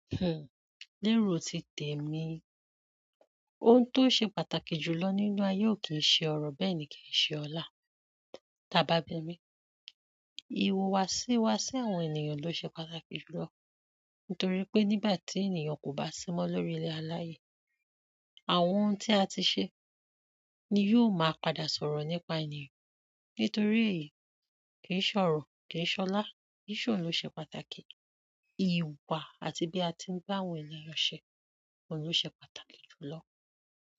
Lérò ti tèmi. Ohun tó ṣe pàtàkì jù lọ nínú ayé ò kí ń ṣe ọrọ̀, bẹ́ẹ̀ ni kí ì ṣe ọlá. Táa bá bí mi, ìhùwàsí wa sí àwọn ènìyàn ló ṣe pàtàkì jù lọ. Nítorí pé nígbà tí ènìyàn kò bá sí mọ́ lórí ilẹ̀ aláyé, àwọn ohun tí a ti ṣe ni yóò máa padà sọ̀rọ̀ nípa ènìyàn. Nítorí èyí, kì í ṣọrọ̀, kì í ṣọlá, kì í ṣòun ló ṣe pàtàkì. Ìwà àti bí a ti ń báwọn ènìyàn ṣe, òun ló ṣe pàtàkì jùlọ.